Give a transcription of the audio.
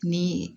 Ni